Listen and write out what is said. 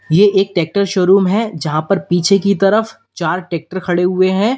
ये एक tractor showroom है यहां पर पीछे की तरफ चार ट्रैक्टर खड़े हुए हैं।